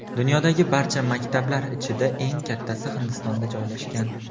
Dunyodagi barcha maktablar ichida eng kattasi Hindistonda joylashgan.